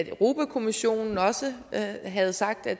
europa kommissionen også havde sagt at